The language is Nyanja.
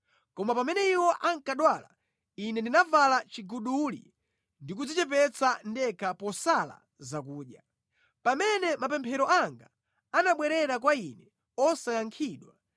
Koma pamene iwo ankadwala, ine ndinavala chiguduli ndi kudzichepetsa ndekha posala zakudya. Pamene mapemphero anga anabwerera kwa ine osayankhidwa,